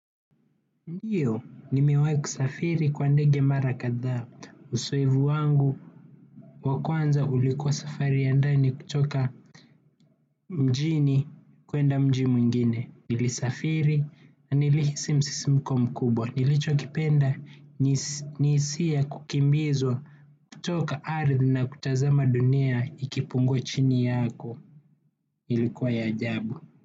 Ndiyo, nimiwai kusafiri kwa ndege mara kadhaa, uzoefu wangu wakulwanza ulikuwa safari ya ndani kutoka mjini kuenda mji mwingine. Nilisafiri, na nilihisi msisimko mkubwa, nilichokipenda, ni hisia ya kukimbizwa kutoka ardhi na kutazama dunia ikipungua chini yako, ilikuwa ya ajabu.